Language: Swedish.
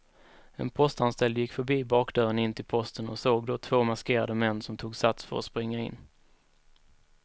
En postanställd gick förbi bakdörren in till posten och såg då två maskerade män som tog sats för att springa in.